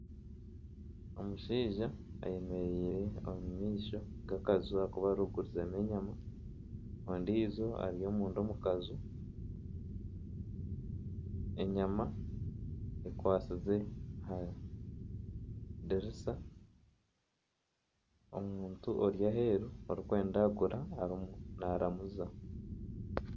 Omushaija ayemereire omu maisho g'akanju aku barikugurizamu enyama ondiijo ari omunda omu kanju enyama ekwasize aha diriisa omuntu ori aheeru arikwenda kugura naaramuza.